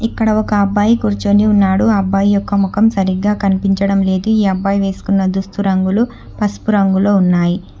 ఇక్కడ ఒక అబ్బాయి కూర్చొని ఉన్నాడు ఆ అబ్బాయి యొక్క ముఖం సరిగ్గా కనిపించడం లేదు ఈ అబ్బాయి వేసుకున్న దుస్తు రంగులు పసుపు రంగులో ఉన్నాయి.